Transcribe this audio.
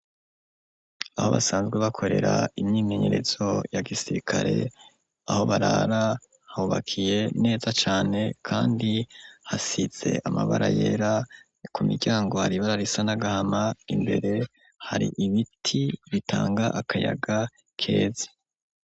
Aho basanzwe bakorera imyimenyerezo ya gisirikare, aho barara hubakiye neza cane, kandi hasize amabara yera, ku miryango hari ibara risa n'agahama, imbere hari ibiti bitanga akayaga keza.